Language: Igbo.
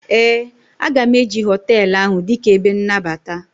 ee, a ga m eji hotelu ahụ dịka ebe nnabata